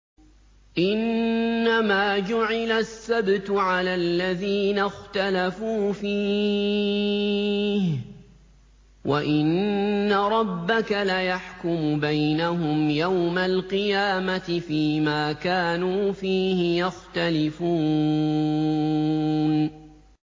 إِنَّمَا جُعِلَ السَّبْتُ عَلَى الَّذِينَ اخْتَلَفُوا فِيهِ ۚ وَإِنَّ رَبَّكَ لَيَحْكُمُ بَيْنَهُمْ يَوْمَ الْقِيَامَةِ فِيمَا كَانُوا فِيهِ يَخْتَلِفُونَ